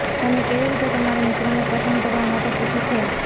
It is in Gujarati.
તમે કેવી રીતે તમારા મિત્રોને પસંદ કરવા માટે પૂછે છે